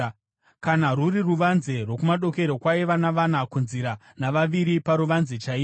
Kana rwuri ruvanze rwokumadokero kwaiva navana kunzira navaviri paruvanze chaipo.